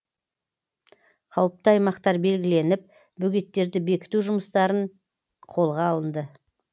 қауіпті аймақтар белгіленіп бөгеттерді бекіту жұмыстарын қолға алынды